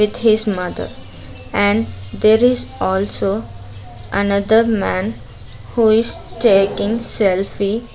With his mother and there is also another man who is taking selfie.